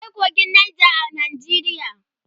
akwai kogin Nija a Najeriya